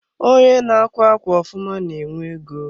Onye n'akwa ákwà ofụma na-enwe ego.